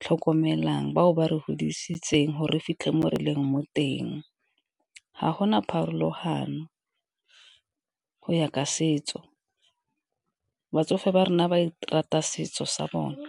tlhokomelang, bao ba re godisetseng gore fitlhe mo re leng mo teng. Ga gona pharologano go ya ka setso, batsofe ba rona ba rata setso sa bone.